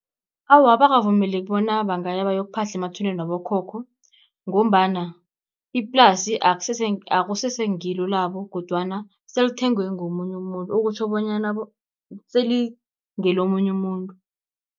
Awa, abakavumeleki bona bangaya bayokuphahla emathuneni wabokhokho, ngombana iplasi akusese ngilo labo kodwana selithengwe ngomunye umuntu, okutjho bonyana selingelomunye umuntu.